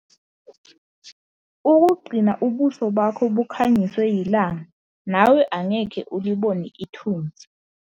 Ukugcina ubuso bakho bukhanyiswe yilanga nawe angeke ulibone ithunzi.